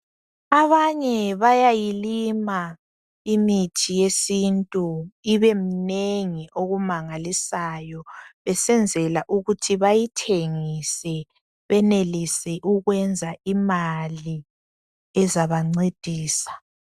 Abanye bayayilima imithi yesintu ibeminengi okumangalisayo besenzela ukuthi bayithengise benelise ukwenza imali ezabancedisa.